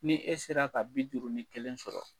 Ni e sera ka bi duuru ni kelen sɔrɔ